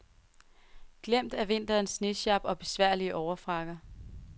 Glemt er vinterens snesjap og besværlige overfrakker.